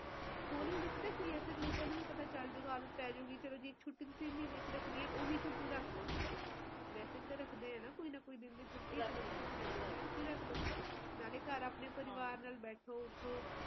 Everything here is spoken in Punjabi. ਚਲੋ ਆਪਾ ਤਾ ਵਧੀਆ ਥਾਂ ਤੇ ਬੈਠੇ ਆ ਪੱਕੇ ਘਰਾਂ ਚ ਬੈਠੇ ਆ ਆਵਦੇ ਪਰ ਜਿਹੜੇ ਗਰੀਬ ਵਿਚਾਰੇ ਸੜਕਾਂ ਤੇ ਪੈਂਦੇ ਪਸ਼ੂ ਪਖਸ਼ੀ ਹੈ ਕਿੰਨਾ ਬੁਰਾ ਹਾਲ ਐ ਹਰਿਆਲੀ ਹੈ ਪੇੜ ਨਹੀਂ ਹੈ ਪੇੜ ਹੋਣ